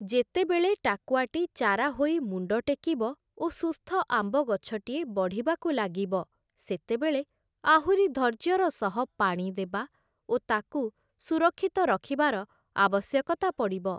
ଯେତେବେଳେ ଟାକୁଆଟି ଚାରା ହୋଇ ମୁଣ୍ଡଟେକିବ ଓ ସୁସ୍ଥ ଆମ୍ବ ଗଛଟିଏ ବଢ଼ିବାକୁ ଲାଗିବ ସେତେବେଳେ ଆହୁରି ଧୈର୍ଯ୍ୟର ସହ ପାଣି ଦେବା ଓ ତାକୁ ସୁରକ୍ଷିତ ରଖିବାର ଆବଶ୍ୟକତା ପଡ଼ିବ ।